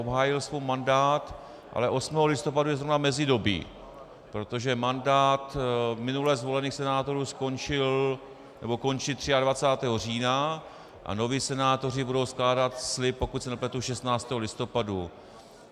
Obhájil svůj mandát, ale 8. listopadu je zrovna mezidobí, protože mandát minule zvolených senátorů skončil, nebo končí 23. října a noví senátoři budou skládat slib, pokud se nepletu, 16. listopadu.